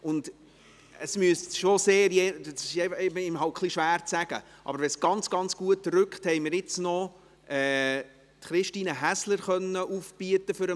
Und für den Fall, dass wir ganz, ganz gut vorrücken – es ist halt immer ein wenig schwierig vorauszusagen –, haben wir jetzt noch Christine Häsler für den Nachmittag aufbieten können.